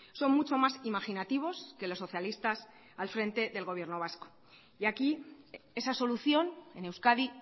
son mucho más imaginativos que los socialistas al frente del gobierno vasco y aquí esa solución en euskadi